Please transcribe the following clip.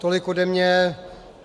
Tolik ode mne.